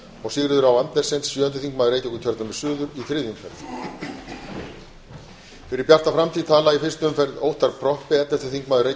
og sigríður á andersen sjöundi þingmaður reykjavíkurkjördæmis suður í þriðju umferð fyrir bjarta framtíð tala í fyrstu umferð óttarr proppé ellefti þingmaður